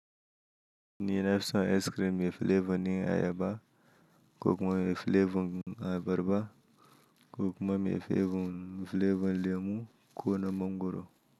Ni nafi son icecream mai flavor na ayaba, ko kuma mai flavor na abarba, ko kuma mai flavor lemu ko na mangwaro.